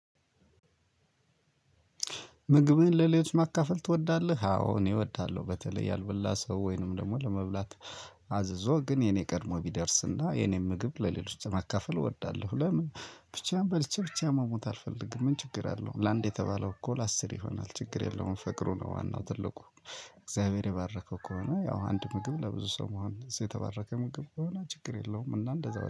ምግብህን ለሌሎች ማካፈል ትወዳለህ? አዎ እኔ እወዳለሁ በተለይ ያልበላ ሰው ወይንም ደግሞ ለመብላት አዝዞ ግን የኔ ቀድሞ ቢደርስና የእኔን ምግብ ለሌሎች መካፈል እወዳለሁ። ለምን? ብቻዬን በልቼ ብቻዬን መሞት አልፈልግም። ምን ችግር አለው ለአንድ የተባለው እኮ ለአስር ይሆናል ችግር የለውም ፈቅሩ ነው ዋናው ትልቁ። እግዚአብሔር የባረከው ከሆነ ያው አንድ ምግብ ለብዙ ሰው መሆን እዚህ የተባረከ ምግብ ከሆነ ችግር የለውም እና እንደዛው